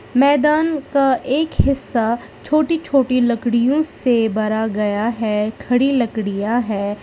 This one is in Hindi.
मैदान का एक हिस्सा छोटी छोटी लड़कियों से भरा गया है खड़ी लकड़िया है।